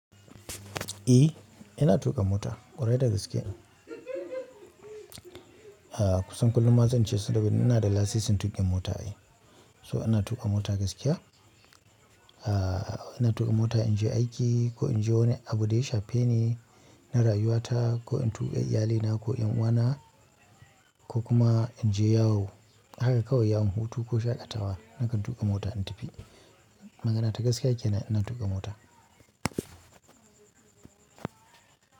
Eh, ina tuƙa mota ƙwarai da gaske. Kusan kullin ma zance saboda ina da lasisin tuƙa mota ai so ina tuƙa mota gaskiya a ina tuƙa mota in je aiki ko in je wani abu da ya shafe ni, na rayuwa ta ko in tuƙa iyalaina ko 'ƴan uwana ko kuma in je yawo. Haka kawai yawon hutu ko shaƙatawa nakan tuƙa mota in tafi. Magana ta gaskiya kenan ina tuƙa mota.